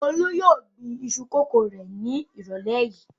Olú yóò gbin iṣu kòkó rẹ̀ ní ìrọ̀lẹ́ yìí.